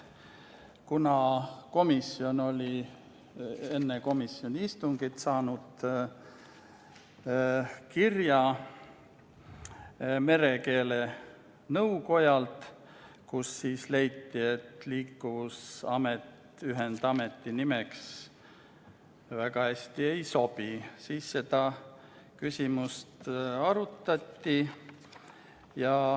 Kuna komisjon oli enne oma istungit saanud kirja merekeele nõukojalt, kus leiti, et Liikuvusamet ühendameti nimeks väga hästi ei sobi, siis seda küsimust arutati.